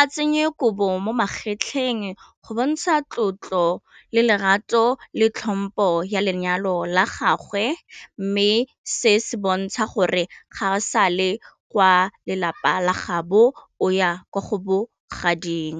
a tsenye kobo mo magetleng go bontsha tlotlo le larato le tlhompo ya lenyalo la gagwe, mme se se bontsha gore ga o sa le kwa lelapa la gaabo o ya kwa go bogading.